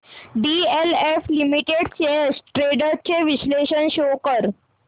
DLF limited shares trends चे विश्लेषण show कर